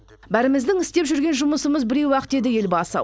бәріміздің істеп жүрген жұмысымыз біреу ақ деді елбасы